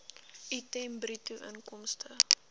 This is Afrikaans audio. item bruto inkomste